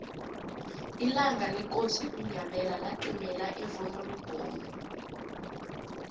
ilanga lekosi unyabela laqimela evonoribnomu